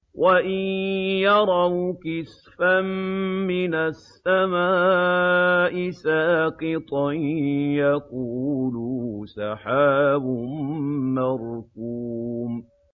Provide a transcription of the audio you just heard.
وَإِن يَرَوْا كِسْفًا مِّنَ السَّمَاءِ سَاقِطًا يَقُولُوا سَحَابٌ مَّرْكُومٌ